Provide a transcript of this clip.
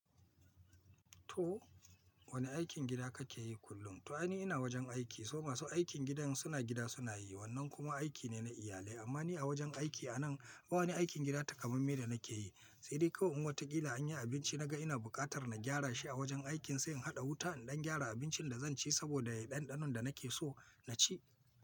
To wane aikin gida kake yi kullum? To ai ni ina wajen aiki, so masu aikin gidan suna gida suna yi, wannan kuma aiki ne na iyalai. Amma ni a wajen aiki anan, ba wani aikin gida takamaime da nake yi. Sai dai kawai in wata ƙila anyi abinci naga ina buƙatar na gyara shi a wajen aikin, sai in haɗa wuta in gyara abincin da zan ci saboda ya yi ɗanɗanon da nake so na ci.